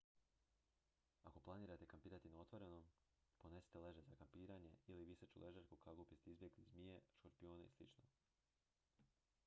ako planirate kampirati na otvorenom ponesite ležaj za kampiranje ili viseću ležaljku kako biste izbjegli zmije škorpione i slično